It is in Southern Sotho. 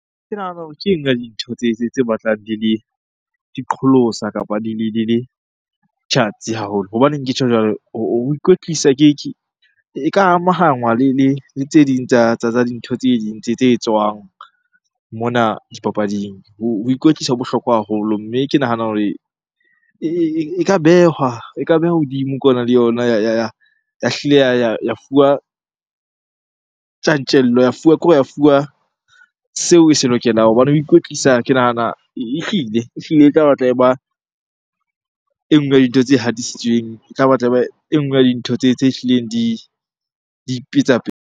Ke nahana hore ke e nngwe ya dintho tse batlang di le, di qholosa kapa di le tjhatsi haholo. Hobaneng ke tjho jwalo, ho ikwetlisa ke, e ka amahangwa le tse ding tsa dintho tse ding tse etswang mona dipapading. Ho ikwetlisa ho bohlokwa haholo, mme ke nahana hore e ka behwa, e ka behwa hodimo kwana le yona ya hlile ya fuwa tjantjello, ya fuwa kore ya fuwa seo e se lokelang. Hobane ho ikwetlisa ke nahana ehlile e tla batla e ba e nngwe ya dintho tse hatisitsweng. E tla batla e ba e nngwe ya dintho tse hlileng di ipetsa pele.